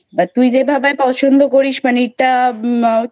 but তুই যেভাবে পছন্দ করিস মানে এটা আহ